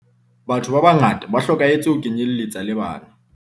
Batho ba bangata ba hlokahetse ho kenyeletsa le bana.